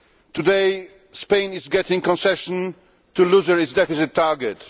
Today Spain is getting concessions to lower its deficit target